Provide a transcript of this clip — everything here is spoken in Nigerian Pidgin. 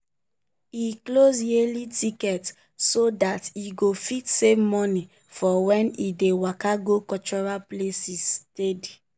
e chose yearly ticket so that e go fit save money for when e dey waka go cultural places steady.